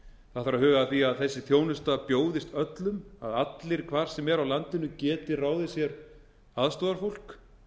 að huga að því að þessi þjónusta bjóðist öllum að allir hvar sem er á landinu geti ráðið sér aðstoðarfólk